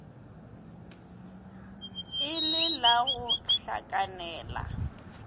e le la go hlakanela